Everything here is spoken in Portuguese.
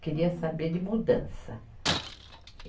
Queria saber de mudança.